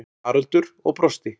Haraldur og brosti.